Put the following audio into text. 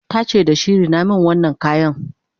tace da shi"Rina min wannan kayan!"